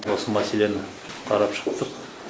осы мәселені қарап шықтық